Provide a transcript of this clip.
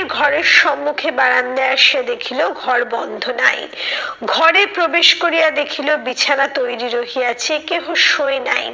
ঘরের সম্মুখে বারান্দায় আসিয়া দেখিলো ঘর বন্ধ নাই। ঘরে প্রবেশ করিয়া দেখিলো বিছানা তৈরী রহিয়াছে কেহ শুয়ে নাই।